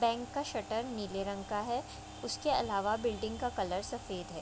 Bank का shutter नीले रंग का है उसके अलावा बिल्डिंग का कलर सफेद है।